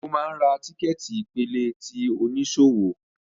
Ṣe o máa ń ra tíkẹ́ẹ̀tì ìpele ti oníṣòwò?